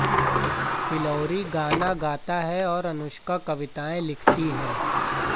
फिल्लौरी गाने गाता है और अनुष्का कविताएं लिखती हैं